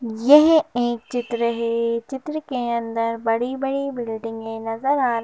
यह एक चित्र है चित्र के अंदर बड़े-बड़ी बिल्डिंग ऐ नजर आ --